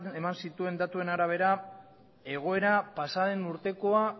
eman zituen datuen arabera egoera pasaden urtekoa